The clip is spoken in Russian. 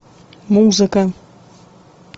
музыка